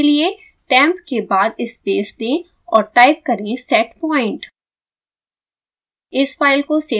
यह करने के लिए temp के बाद स्पेस दें और टाइप करें setpoint